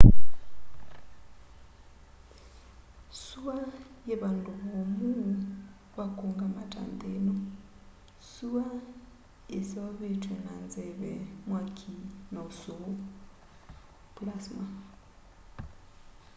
sua yii vandũ vomũ va kũungama ta nthi ino. sua yiseovetwe na nzeve mwaki na ũsũu plasma